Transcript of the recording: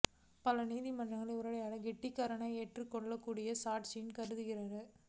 பல நீதிமன்றங்கள் உரையாடல் ரெக்கார்டிங்கை ஏற்றுக் கொள்ளக்கூடிய சாட்சியாக கருதுகின்றன